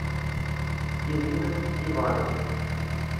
ирина ивановна